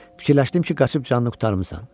Fikirləşdim ki, qaçıb canını qurtarmısan.